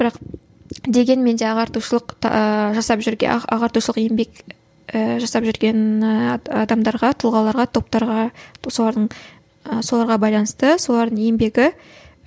бірақ дегенмен де ағартушылық жасап жүрген ағартушылық еңбек ііі жасап жүрген ііі адамдарға тұлғаларға топтарға солардың соларға байланысты солардың еңбегі